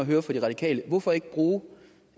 høre fra de radikale er hvorfor ikke bruge